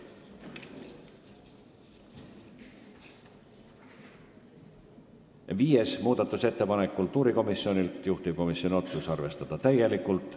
Viies muudatusettepanek on kultuurikomisjonilt, juhtivkomisjoni otsus on arvestada täielikult.